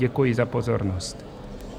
Děkuji za pozornost.